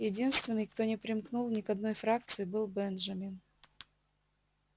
единственный кто не примкнул ни к одной фракции был бенджамин